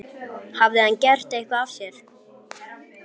Hafði hann gert eitthvað af sér?